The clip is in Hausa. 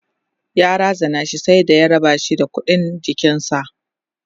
ya razana shi sai da ya rabashi da ƙuɗin jikinshi